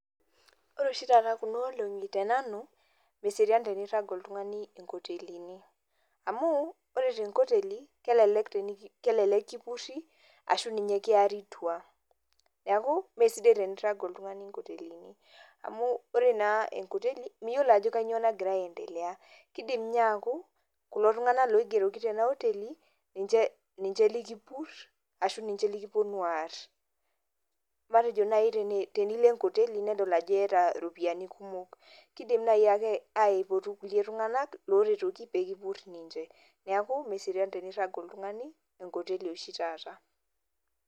Ore oshi taata kuna olonki tenanu, meserian tenirag oltungani inkotelini. Amu ore tenkoteli kelelek kipuri ashu arashu ninye kiari tua. Neeku mesidai tenirag oltungani inkotelini, amu ore naa enkoteli miyiolo ajo kanyio nagira aendelea. Kidim ninye aaku kulo tunganak oigeroki tenaoteli ninje likipur arashu ninje likiponu aar. Matejo naaji tenilo enkoteli nedol ajo iyata iropiyiani kumok, kidim naayiake aipotu kulie tunganak loretoki kipuri ninje. Neeku meserian tenirag oltungani enkoteli oshi taata.